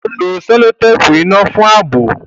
Ó lo sẹ́lótéèpù iná fún ààbò